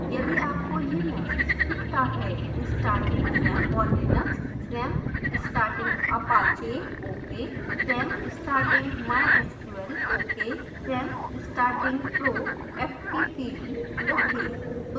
यदि आपको यह message दिखता है